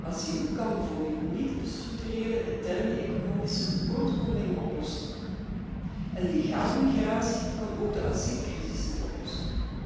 Asiel kan bijvoorbeeld niet de structurele interne economische tekortkomingen oplossen en legale migratie kan ook de asielcrisis niet oplossen.